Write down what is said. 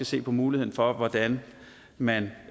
ses på muligheden for hvordan man